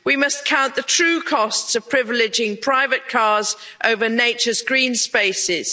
we must count the true costs of privileging private cars over nature's green spaces.